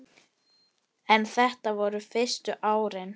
En þetta voru fyrstu árin.